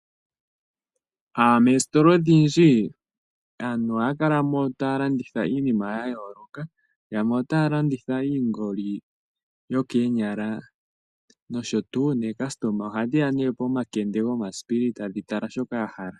Mositola odhindji aantu ohaya kalamo taya landitha iinima yayooloka yamwe otaya landitha iingoli yokeenyala osho tuu nookasitoma oha dhiya pomakende gomasipili tadhi tala shoka dhahala.